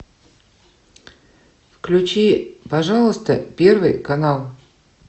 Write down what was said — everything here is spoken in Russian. включи пожалуйста первый канал